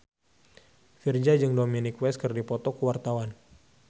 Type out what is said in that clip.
Virzha jeung Dominic West keur dipoto ku wartawan